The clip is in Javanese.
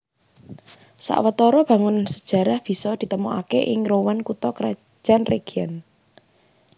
Sawetara bangunan sajarah bisa ditemokaké ing Rouen kutha krajan région